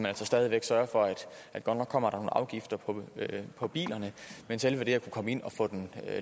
altså stadig væk for at godt nok kommer der nogle afgifter på bilerne men selve det at kunne komme ind og få dem